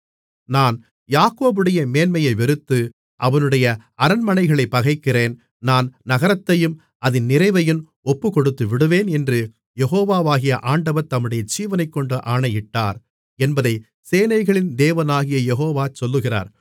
நான் யாக்கோபுடைய மேன்மையை வெறுத்து அவனுடைய அரண்மனைகளைப் பகைக்கிறேன் நான் நகரத்தையும் அதின் நிறைவையும் ஒப்புக்கொடுத்துவிடுவேன் என்று யெகோவாகிய ஆண்டவர் தம்முடைய ஜீவனைக்கொண்டு ஆணையிட்டார் என்பதைச் சேனைகளின் தேவனாகிய யெகோவா சொல்லுகிறார்